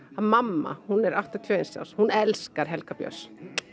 að mamma hún er áttatíu og eins árs hún elskar Helga Björns